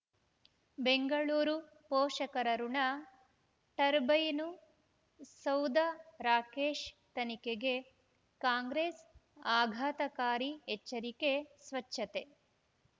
ಬೆಂಗಳೂರು ಪೋಷಕರಋಣ ಟರ್ಬೈನು ಸೌಧ ರಾಕೇಶ್ ತನಿಖೆಗೆ ಕಾಂಗ್ರೆಸ್ ಆಘಾತಕಾರಿ ಎಚ್ಚರಿಕೆ ಸ್ವಚ್ಛತೆ